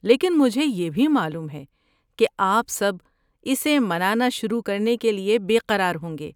لیکن مجھے یہ بھی معلوم ہے کہ آپ سب اسے منانا شروع کرنے کے لیے بے قرار ہوں گے۔